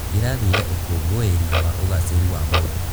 Ndĩrathire ũkũngũĩri wa ũgacĩĩru wa mũndũ.